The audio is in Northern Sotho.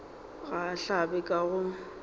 ga a hlabe ka go